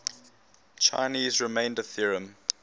chinese remainder theorem